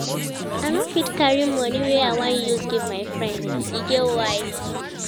I no fit carry moni wey I wan use give my friend, e get why.